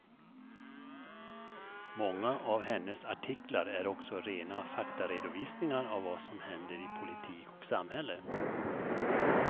Många av hennes artiklar är också rena faktaredovisningar av vad som händer i politik och samhälle.